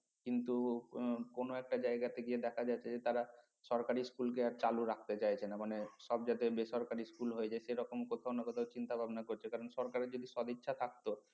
কিন্তু কোন একটা জায়গাতে গিয়ে দেখা যাচ্ছে যে তারা সরকারি school কে আর চালু রাখতে চাইছে না মানে সব যাতে বেসরকারি school হয়ে যাই সেরকম কোথাও চিন্তা-ভাবনা করছে কারণ সরকারের যদি সদিচ্ছা থাকতো